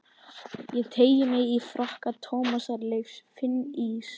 Ég teygi mig í frakka Tómasar Leifs, finn ís